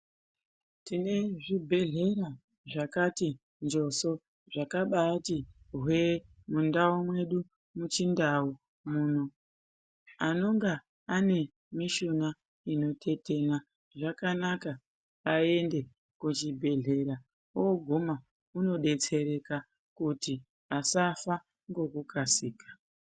Tine zvibhedhlera zvakati njoso, zvakabaati hwee mundau mwedu muchindau muno. Anonga ane mishuna inotetena, zvakanaka aende kuchibhedhleya, ooguma unodetsereka kuti asafa ngokukasika